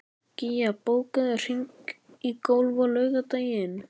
Gía, bókaðu hring í golf á laugardaginn.